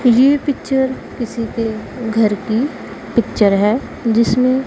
ये पिक्चर किसी के घर की पिक्चर है जिसमें--